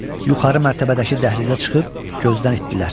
Yuxarı mərtəbədəki dəhlizə çıxıb gözdən itdilər.